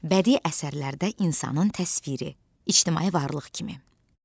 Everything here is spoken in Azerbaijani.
Bədii əsərlərdə insanın təsviri ictimai varlıq kimi.